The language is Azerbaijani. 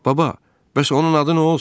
Baba, bəs onun adı nə olsun?